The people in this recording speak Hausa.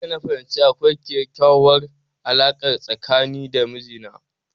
Jiya na fahimci akwai kekyauwar alarka tsakani da mijina